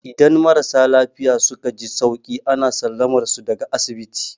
Idan marasa lafiya suka ji sauki, ana sallamar su daga asibiti.